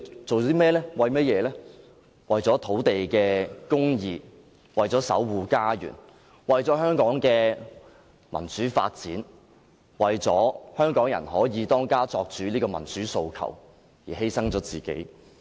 是為了土地公義，為了守護家園，為了香港的民主發展，為了香港人可以"當家作主"這個民主訴求而犧牲自己。